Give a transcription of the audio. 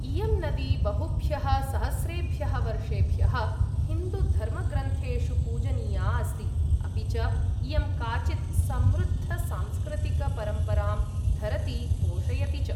इयं नदी बहुभ्यः सहस्रेभ्यः वर्षेभ्यः हिन्दूधर्मग्रन्थेषु पूजनीया अस्ति, अपि च इयं काचित् समृद्धसांस्कृतिकपरम्परां धरति पोषयति च।